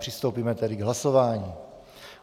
Přistoupíme tedy k hlasování.